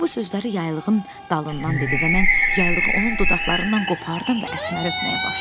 O bu sözləri yaylığın dalından dedi və mən yaylığı onun dodaqlarından qopardım və Əsməri öpməyə başladım.